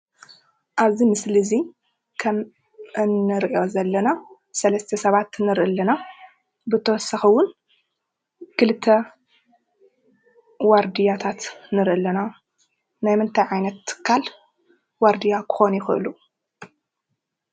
ኣብዚ ምስሊ እዚ ከም እንሪኦ ዘለና ሰለስተ ሰባት እንሪኢ ኣለና፡፡ ብተወሳኪ እውን ክልተ ዋርድያታት ንሪኢ ኣለና፡፡ ናይ ምንታይ ዓይነት ትካል ዋርድያ ክኮኑ ይክእሉ?